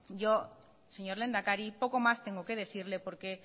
yo señor lehendakari poco más tengo que decirle porque